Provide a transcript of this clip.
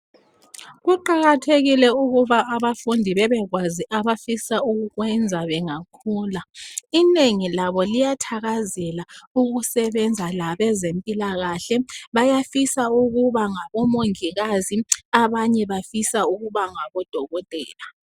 Kuqakathekile ukuba abafundi bebekwazi abafisa ukukwenza bengakhula inengi labo liyathakazela ukusebenza labezempilakahle bayafisa ukuba ngabo mongikazi abanye bafisa ukuba ngabodokotela